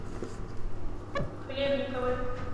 хлебниковой